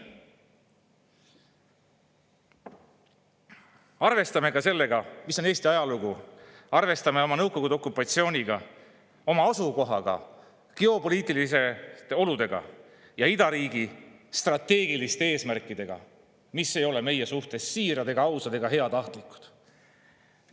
Arvestame ka Eesti ajalugu, arvestame Nõukogude okupatsiooni, oma asukohta, geopoliitilisi olusid ja idariigi strateegilisi eesmärke, mis ei ole meie suhtes siirad ega ausad ega heatahtlikud.